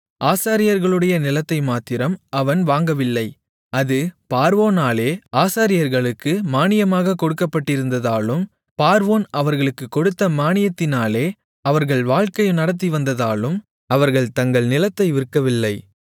ஆசாரியர்களுடைய நிலத்தை மாத்திரம் அவன் வாங்கவில்லை அது பார்வோனாலே ஆசாரியர்களுக்கு மானியமாகக் கொடுக்கப்பட்டிருந்ததாலும் பார்வோன் அவர்களுக்குக் கொடுத்த மானியத்தினாலே அவர்கள் வாழ்க்கை நடத்திவந்ததாலும் அவர்கள் தங்கள் நிலத்தை விற்கவில்லை